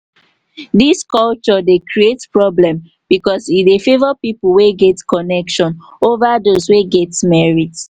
dis culture dey create problem because e dey favor people wey get connection over those wey get merit.